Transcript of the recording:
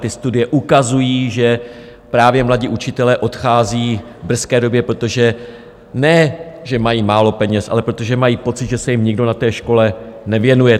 Ty studie ukazují, že právě mladí učitelé odcházejí v brzké době, protože ne že mají málo peněz, ale protože mají pocit, že se jim nikdo na té škole nevěnuje.